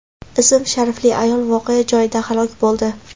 ism-sharifli ayol voqea joyida halok bo‘ldi.